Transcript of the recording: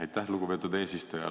Aitäh, lugupeetud eesistuja!